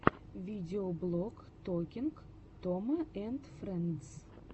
видеоблог токинг тома энд фрэндс